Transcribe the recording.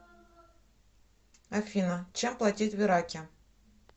афина чем платить в ираке